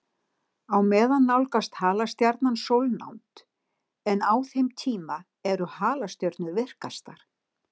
Á meðan nálgast halastjarnan sólnánd, en á þeim tíma eru halastjörnur virkastar.